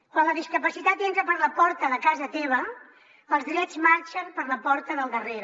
quan la discapacitat entra per la porta de casa teva els drets marxen per la porta del darrere